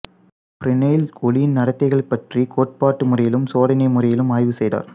Fresnel ஒளியின் நடத்தைகள் பற்றிக் கோட்பாட்டு முறையிலும் சோதனை முறையிலும் ஆய்வு செய்தார்